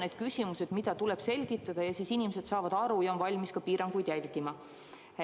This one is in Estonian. Need on küsimused, mida tuleb selgitada, ja inimesed saavad aru ja on valmis ka piiranguid järgima.